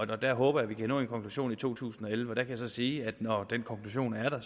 der håber jeg vi kan nå en konklusion i to tusind og elleve jeg kan sige at når den konklusion er der